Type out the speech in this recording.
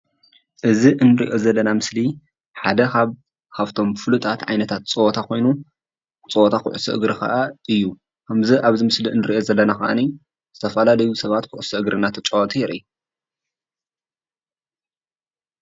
እዚ እንሪኦ ዘለና ምስሊ ሓደ ካብቶም ፉሉጣት ዓይነታት ፀወታ ኮይኑ ፀወታ ኩዕሶ እግሪ ከዓ እዩ፡፡ ከምዚ ኣብዚ ምስሊ አንሪኦ ዘለና ከዓ ዝተፈላለዩ ሰባት ኩዕሶ እንዳተጫወቱ የርኢ፡፡